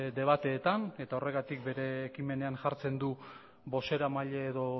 debateetan eta horregatik bere ekimenean jartzen du bozeramaile edo